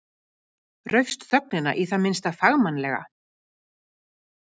Raufst þögnina í það minnsta fagmannlega.